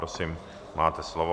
Prosím, máte slovo.